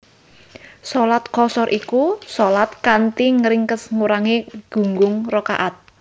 Shalat Qashar iku shalat kanthi ngringkes ngurangi gunggung rakaat